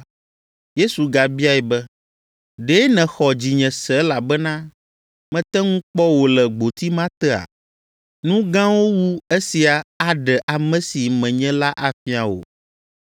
Yesu gabiae be, “Ɖe nèxɔ dzinye se elabena mete ŋu kpɔ wò le gboti ma tea? Nu gãwo wu esia aɖe ame si menye la afia wò.